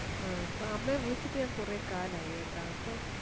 ആ ഇപ്പൊ അമ്മെ വിളിച്ചിട്ട് ഞാൻ കുറെ കാലായി കേട്ട അപ്പൊ